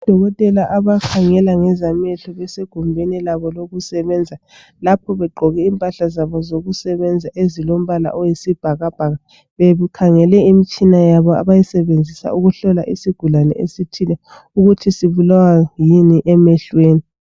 Odokotela abakhangela ngezamehlo besegumbini labo lokusebenza lapho begqoke impahla zabo zokusebenza zilombala oyisibhakabhaka bebekhnagele imtshina yabo abayisebenzisayo ukuhlola isigulane esithile ukuthi sibulawa yikuyini emehlweni.